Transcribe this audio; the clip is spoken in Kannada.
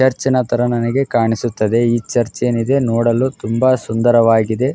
ಚರ್ಚಿ ನ ತರ ನನಗೆ ಕಾಣಿಸುತ್ತಿದೆ ಈ ಚರ್ಚ್ ಏನಿದೆ ನೋಡಲು ತುಂಬಾ ಸುಂದರವಾಗಿದೆ.